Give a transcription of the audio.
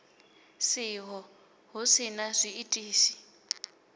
siho hu si na zwiitisi